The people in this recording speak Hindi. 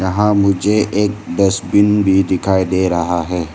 यहां मुझे एक डस्टबिन भी दिखाई दे रहा है।